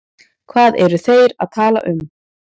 Hvað eru þeir að tala um?